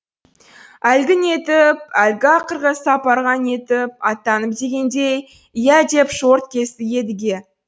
әлгі нетіп әлгі ақырғы сапарға нетіп аттанып дегендей иә деп шорт кесті едіге